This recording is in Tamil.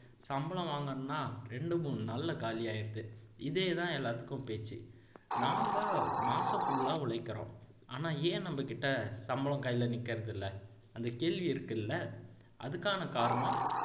சம்பளம் வாங்கினேன்னா ரெரண்டு மூணு நாளில காலியாயிருது இதேதான் எல்லாத்துக்கும் பேச்சு நாம மாசம் full ஆ உழைக்கிறோம் ஆனா ஏன் நம்மகிட்ட சம்பளம் கையில நிக்கிறதில்ல அந்த கேள்வி இருக்குல்ல அதுக்கான காரணம்